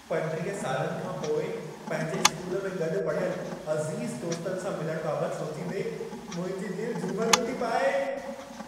35 सालनि खां पोइ पंहिंजे स्कूल में गॾु पढ़ियल अज़ीज़ दोस्तनि सां मिलण बाबतु सोचींदे, मुंहिंजी दिलि झुमिरियूं थी पाए।